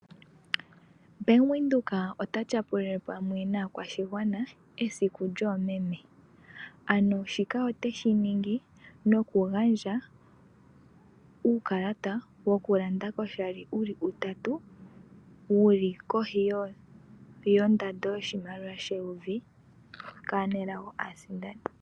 Ombanga yaVenduka otayi tyapulile pamwe naakwashigwa esiku lyoomeme ano shoka iteshiningi nokugandja uukalata woku landa koshali wuli utatu wuli koshi yoshimaliwa sheyovi kaasindani aanelago.